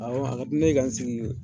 Awɔ ka di ne ye ka n sigi